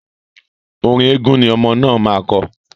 Orin eégun ni ọmọ náà máa kọ..